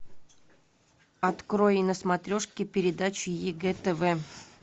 открой на смотрешке передачу егэ тв